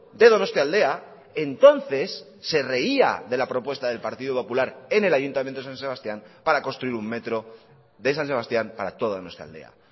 de donostialdea entonces se reía de la propuesta del partido popular en el ayuntamiento de san sebastián para construir un metro de san sebastián para toda nuestra aldea